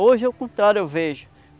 Hoje é o contrário, eu vejo.